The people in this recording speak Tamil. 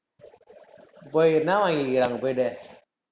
போய், என்ன வாங்கியிருக்கிற அங்க போயிட்டு